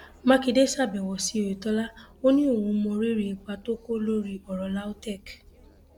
mákindé ṣàbẹwò sí oyetola ó ní òun mọrírì ipa tó kó lórí ọrọ lautech